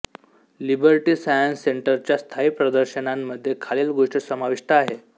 liberty Science सेंटरच्या स्थायी प्रदर्शनांमध्ये खालील गोष्टी समाविष्ट आहे